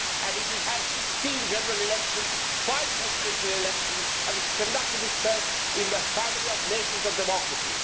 It has had 16 general elections, five presidential elections and has conducted itself as a member of the family of nations of democracy.